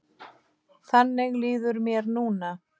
Þannig líður mér núna.